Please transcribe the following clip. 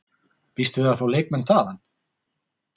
Býstu við að fá leikmenn þaðan?